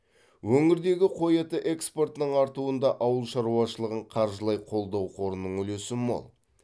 өңірдегі қой еті экспортының артуында ауыл шаруашылығын қаржылай қолдау қорының үлесі мол